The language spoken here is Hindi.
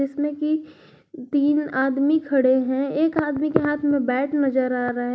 इसमें की तीन आदमी खड़े हैं एक आदमी के हाथ में बैट नजर आ रहा है।